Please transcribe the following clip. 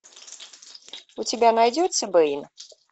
у тебя найдется бейн